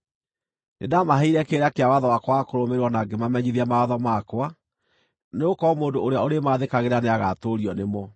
Nĩndamaheire kĩrĩra kĩa watho wakwa wa kũrũmĩrĩrwo na ngĩmamenyithia mawatho makwa, nĩgũkorwo mũndũ ũrĩa ũrĩmaathĩkagĩra nĩagatũũrio nĩmo.